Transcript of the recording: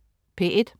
P1: